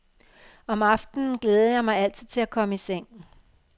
Om aftenen glædede jeg mig altid til at komme i seng.